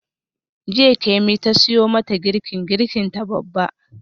Jiya Kemi ta siyo mata girkin girkinta babba.